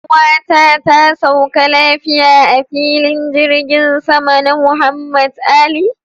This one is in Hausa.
Yar'uwata ta sauka lafiya a filin jirgin sama na Muhammad Ali.